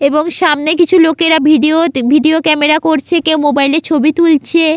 এবং সামনে কিছু লোকেরা ভিডিও তে ভিডিও ক্যামেরা করছে কেউ মোবাইলে ছবি তুলছে--